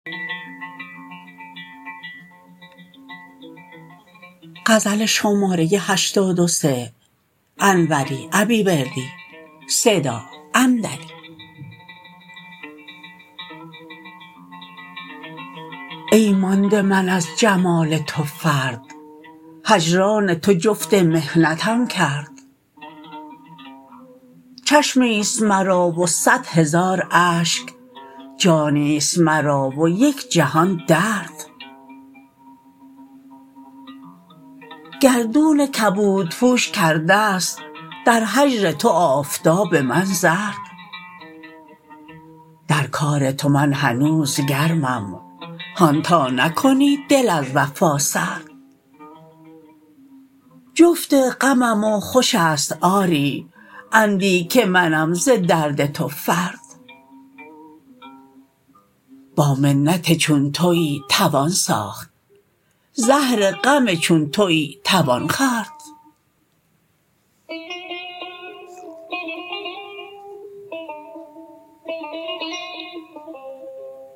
ای مانده من از جمال تو فرد هجران تو جفت محنتم کرد چشمی ست مرا و صدهزار اشک جانی ست مرا و یک جهان درد گردون کبودپوش کرده ست در هجر تو آفتاب من زرد در کار تو من هنوز گرمم هان تا نکنی دل از وفا سرد جفت غمم و خوش است آری اندی که منم ز درد تو فرد با منت چون تویی توان ساخت زهر غم چون تویی توان خورد